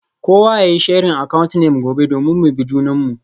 Kowa yayi sharing account name gobe domin mu bi junanmu.